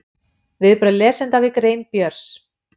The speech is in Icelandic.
Viðbrögð lesenda við grein Björns